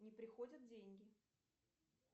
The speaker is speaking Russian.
не приходят деньги